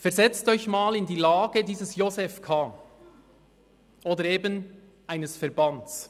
Versetzen Sie sich einmal in die Lage dieses Josef K. oder eben eines Verbands.